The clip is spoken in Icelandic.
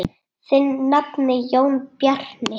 Þinn nafni, Jón Bjarni.